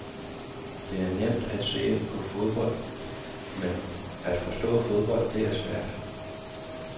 Det er nemt at se på fodbold, men at forstå fodbold, det er svært.